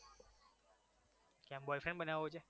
કેમ boyfriend બનાવવો છે?